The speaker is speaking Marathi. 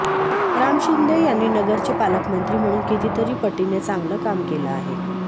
राम शिंदे यांनी नगरचे पालकमंत्री म्हणून कितीतरी पटीने चांगलं काम केलं आहे